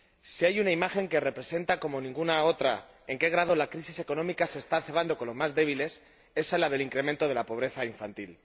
Si hay una imagen que representa como ninguna otra en qué grado la crisis económica se está cebando con los más débiles, es la del incremento de la pobreza infantil.